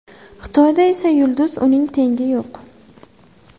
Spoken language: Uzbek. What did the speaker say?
Xitoyda esa yulduz, uning tengi yo‘q.